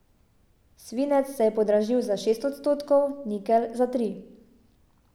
Svinec se je podražil za šest odstotkov, nikelj za tri.